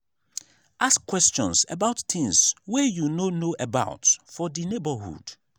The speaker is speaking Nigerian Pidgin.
ask questions about things wey you no know about for di neighbourhood